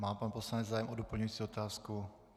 Má pan poslanec zájem o doplňující otázku?